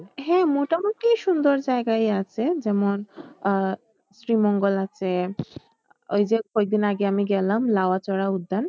হ্যাঁ, মোটামুটি সুন্দর জায়গায়ই আছে যেমন আহ শ্রীমঙ্গল আছে ওই যে কয়েকদিন আগে আমি গেলাম লাওয়াচড়া উদ্যান